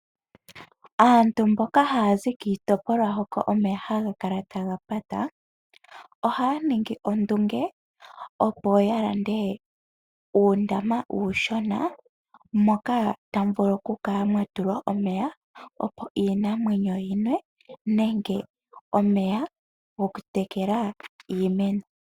Aantu mboka haya zi kiitopolwa hoka omeya haga kala taga pata ohaya ningi ondunge opo yalande uundama uushona moka tamu vulu okukala mwatulwa omeya opo iinamwenyo yinwe nenge omeya go ku tekela iimeno.